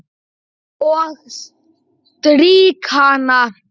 Og strýk hana.